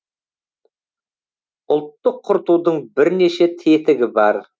ұлтты құртудың бірнеше тетігі бар